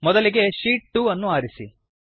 ಮೊದಲಿಗೆ ಶೀಟ್ 2 ಅನ್ನು ಆರಿಸಿ